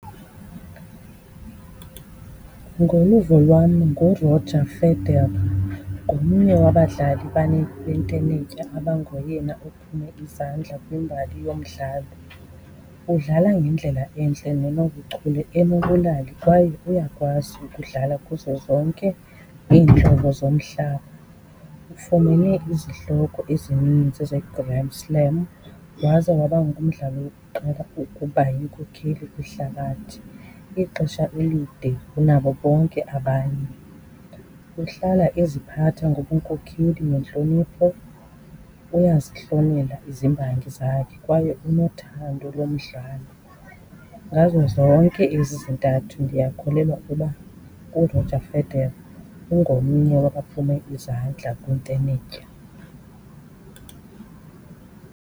Ngoluvo lwam, nguRoger Federer. Ngomnye wabadlali bentenetya abangoyena ophume izandla kwimbali yomdlalo. Udlala ngendlela entle nenobuchule, enobulali kwaye uyakwazi ukudlala kuzo zonke iintlobo zomhlaba. Ufumene izihloko ezinintsi zeGrand Slam waze waba ngumdlali wokuqala ukuba yinkokheli kwihlabathi ixesha elide kunabo bonke abanye. Uhlala eziphatha ngobunkokheli nentlonipho, uyazihlonela izimbangi zakhe kwaye unothando lomdlalo. Ngazo zonke ezi zintathu ndiyakholelwa uba uRoger Federer ungomnye wabaphume izandla kwintenetya.